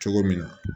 Cogo min na